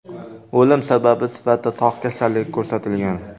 O‘lim sababi sifatida tog‘ kasalligi ko‘rsatilgan.